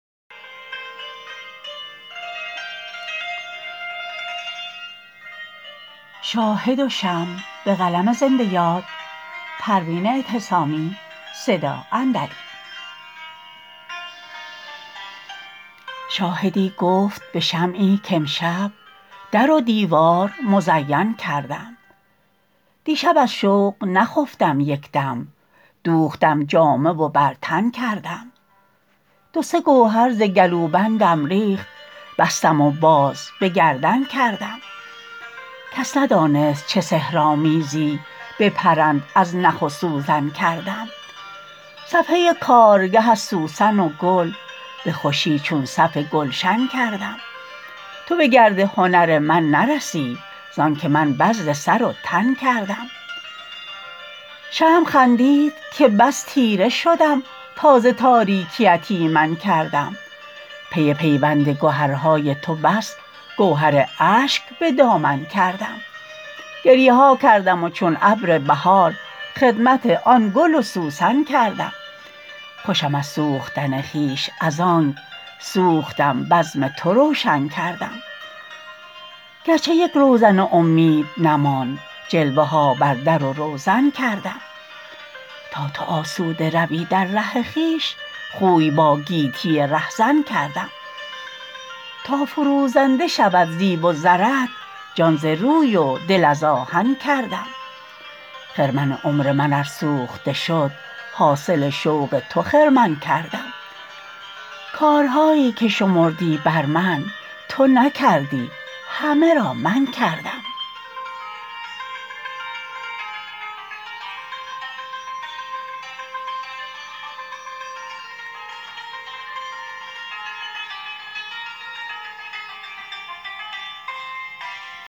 شاهدی گفت بشمعی کامشب در و دیوار مزین کردم دیشب از شوق نخفتم یکدم دوختم جامه و بر تن کردم دو سه گوهر ز گلوبندم ریخت بستم و باز بگردن کردم کس ندانست چه سحرآمیزی به پرند از نخ و سوزن کردم صفحه کارگه از سوسن و گل بخوشی چون صف گلشن کردم تو بگرد هنر من نرسی زانکه من بذل سر و تن کردم شمع خندید که بس تیره شدم تا ز تاریکیت ایمن کردم پی پیوند گهرهای تو بس گهر اشک بدامن کردم گریه ها کردم و چون ابر بهار خدمت آن گل و سوسن کردم خوشم از سوختن خویش از آنک سوختم بزم تو روشن کردم گرچه یک روزن امید نماند جلوه ها بر درو روزن کردم تا تو آسوده روی در ره خویش خوی با گیتی رهزن کردم تا فروزنده شود زیب و زرت جان ز روی و دل از آهن کردم خرمن عمر من ار سوخته شد حاصل شوق تو خرمن کردم کارهاییکه شمردی بر من تو نکردی همه را من کردم